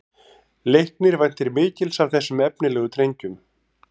Leiknir væntir mikils af þessum efnilegu drengjum